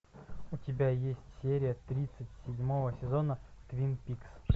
у тебя есть серия тридцать седьмого сезона твин пикс